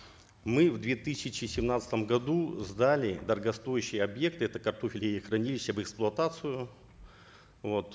мы в две тысячи семнадцатом году сдали дорогостоящий объект это картофелехранилище в эксплуатацию вот